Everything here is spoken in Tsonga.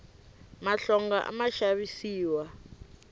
mahlonga a ma xavisiwa